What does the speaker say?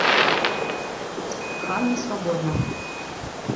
ханна свободна